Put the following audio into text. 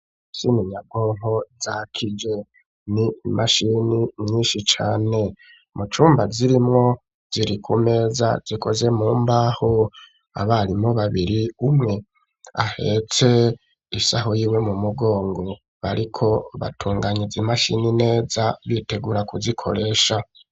Imashini nyabwonko zakije. Ni imashini nyinshi cane. Mu cumba zirimwo, ziri ku meza zikoze mu mbaho. Abarimu babiri, umwe ahetse isaho yiwe mu mugongo, bariko batunganya izo mashini neza, bitegura kuzikoresha.